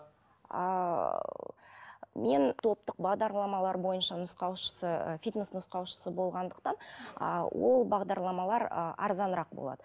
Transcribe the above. а ы мен топтық бағдарламалар бойынша нұсқаушысы фитнес нұсқаушысы болғандықтан а ол бағдарламалар ы арзанырақ болады